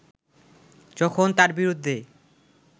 যখন তার বিরুদ্ধে